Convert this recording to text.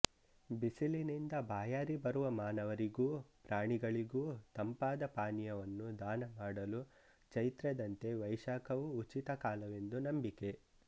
ಬಿಸಿಲಿನಿಂದ ಬಾಯಾರಿ ಬರುವ ಮಾನವರಿಗೂ ಪ್ರಾಣಿಗಳಿಗೂ ತಂಪಾದ ಪಾನೀಯವನ್ನು ದಾನ ಮಾಡಲು ಚೈತ್ರದಂತೆ ವೈಶಾಖವೂ ಉಚಿತಕಾಲವೆಂದು ನಂಬಿಕೆ